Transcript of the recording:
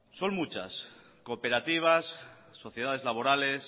son muchas cooperativas sociedades laborales